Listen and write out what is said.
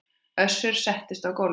Össur settist á gólfið